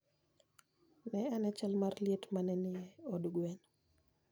Ne ane chal mar liet ma ne nie od gweno.